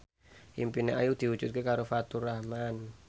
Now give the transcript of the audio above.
impine Ayu diwujudke karo Faturrahman